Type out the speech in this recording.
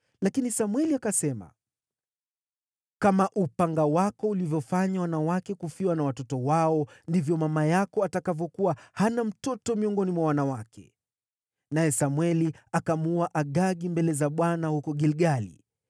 Lakini Samweli akasema, “Kama upanga wako ulivyofanya wanawake kufiwa na watoto wao, ndivyo mama yako atakavyokuwa hana mtoto miongoni mwa wanawake.” Naye Samweli akamuua Agagi mbele za Bwana huko Gilgali.